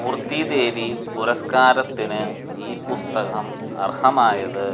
മൂര്ത്തീദേവി പുരസ്കാരത്തിന് ഈ പുസ്തകം അര്ഹമായത്